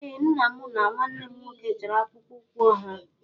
Ee Nna, mụ na nwanne m nwoke chọrọ akpụkpọ ụkwụ ọhụrụ